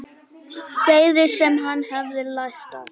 Þeirri sem hann hefði lært af.